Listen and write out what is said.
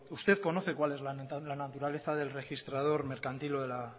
usted conoce cuál es la naturaleza del registrador mercantil o de la